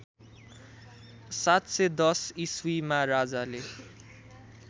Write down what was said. ७१० ईस्वीमा राजाले